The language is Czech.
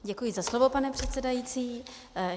Děkuji za slovo, pane předsedající.